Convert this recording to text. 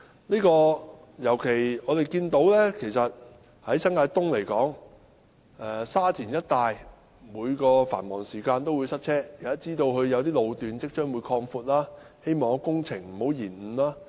我們尤其看到，以新界東來說，在沙田一帶，繁忙時間必定會塞車；我知道有些路段將會擴闊，希望工程不會延誤。